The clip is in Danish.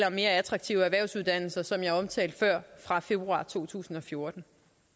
om mere attraktive erhvervsuddannelser som jeg omtalte før fra februar to tusind og fjorten